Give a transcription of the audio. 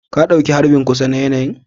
Ka ɗauki harbin kusa na yanayi'n?